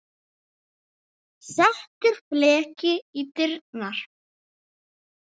Settur fleki í dyrnar.